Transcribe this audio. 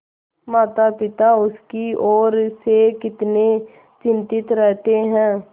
मातापिता उसकी ओर से कितने चिंतित रहते हैं